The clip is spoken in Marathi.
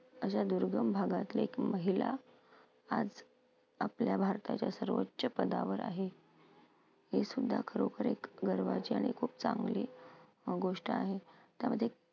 अशा दुर्गम भागातले महिला आज आपल्या भारताच्या सर्वोच्च पदावर आहे. हे सुद्धा खरोखर एक गर्वाची आणि खूप चांगली गोष्ट आहे. त्यामध्ये